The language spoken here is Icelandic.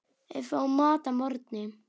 Við fáum mat að morgni.